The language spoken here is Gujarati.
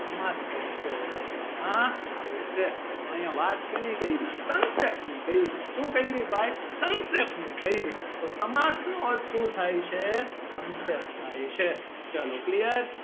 સમાસ તરીકે ઓળખવામાં આવે છે તો અહિયાં વાત શેની કરી સંક્ષેપ્તની કરી શું કરી ભાઈ સંક્ષેપ્તની કરી તો સમાસ નું અર્થ શું થાય છે સંક્ષેપ્ત થાય છે ચલો clear